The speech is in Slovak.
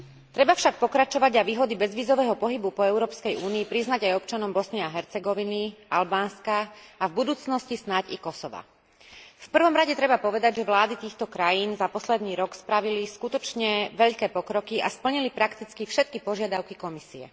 Treba však pokračovať a výhody bezvízového pohybu po Európskej únii priznať aj občanom Bosny a Hercegoviny, Albánska a v budúcnosti snáď i Kosova. V prvom rade treba povedať, že vlády týchto krajín za posledný rok spravili skutočne veľké pokroky a splnili prakticky všetky požiadavky Komisie.